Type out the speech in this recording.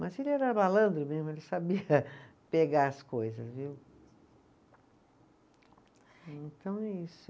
Mas ele era malandro mesmo, ele sabia pegar as coisas, viu. Então é isso.